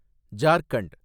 Jharkhand